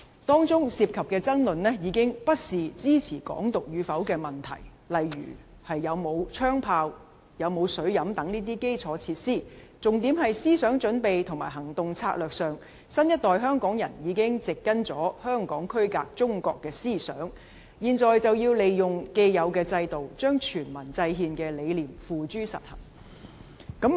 當中涉及的爭論已不是支持"港獨"與否的問題，例如有沒有槍炮、有沒有水飲等這些基礎設施，重點是思想準備及行動策略上，新一代香港人已植根香港區隔中國的思想，現在就要利用既有的制度，將全民制憲的理念付諸實行。